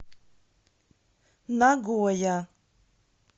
нагоя